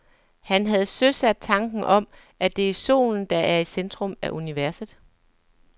Han havde søsat tanken om, at det er solen, der er i centrum af universet.